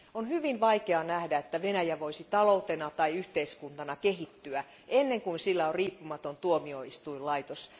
On hyvin vaikea nähdä, että Venäjä voisi taloutena tai yhteiskuntana kehittyä ennen kuin sillä on riippumaton tuomioistuinlaitos.